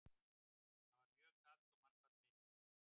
Þar var mjög kalt og mannfall mikið.